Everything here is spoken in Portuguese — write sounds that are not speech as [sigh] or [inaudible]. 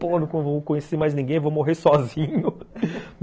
Pô, não vou conhecer mais ninguém, vou [laughs] morrer sozinho.